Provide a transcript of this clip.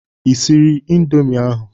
Ị siri indomi ahụ?